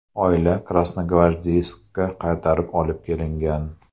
Oila Krasnogvardeyskka qaytarib olib kelingan.